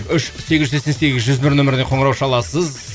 үш сегіз жүз сексен сегіз жүз бір нөміріне қоңырау шаласыз